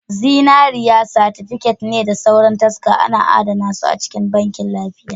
Zinariya, satifiket da sauran taska ana adana su a cikin Bankin lafiya